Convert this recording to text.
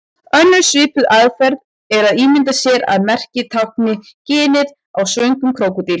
Önnur svipuð aðferð er að ímynda sér að merkið tákni ginið á svöngum krókódíl.